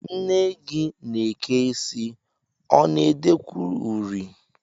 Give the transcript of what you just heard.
Nne gị na-eke isi, ọ na-edekwu uri?